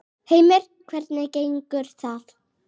Heimir: Hvernig gengur það?